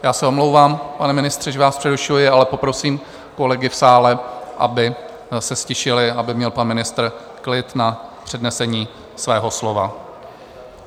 Já se omlouvám, pane ministře, že vás přerušuji, ale poprosím kolegy v sále, aby se ztišili, aby měl pan ministr klid na přednesení svého slova.